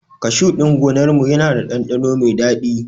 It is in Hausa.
Kashu ɗin gonar mu yana da ɗanɗano mai dadi